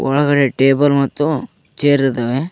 ಒಳಗಡೆ ಟೇಬಲ್ ಮತ್ತು ಚೇರ್ ಇದಾವೆ.